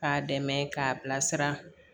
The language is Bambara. K'a dɛmɛ k'a bilasira